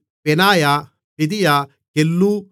பெனாயா பெதியா கெல்லூ